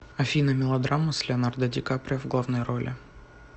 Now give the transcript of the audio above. афина мелодрама с леонардо ди каприо в главной роли